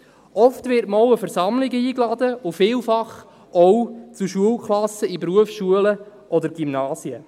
Oft wird man auch an Versammlungen eingeladen und vielfach auch zu Schulkassen in Berufsschulen oder Gymnasien.